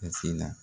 A sin na